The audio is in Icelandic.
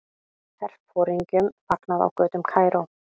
Herforingjum fagnað á götum Kaíró.